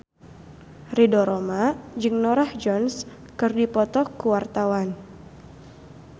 Ridho Roma jeung Norah Jones keur dipoto ku wartawan